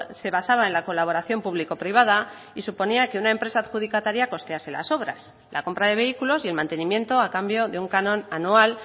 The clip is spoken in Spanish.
se basaba en la colaboración público privada y suponía que una empresa adjudicataria costease las obras la compra de vehículos y el mantenimiento a cambio de un canon anual